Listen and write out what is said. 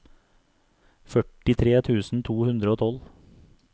førtitre tusen to hundre og tolv